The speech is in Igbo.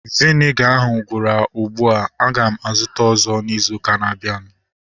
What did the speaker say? Viniga ahu gwụrụ ugbua. Aga m azụta ọzọ izu ụka na-abịanụ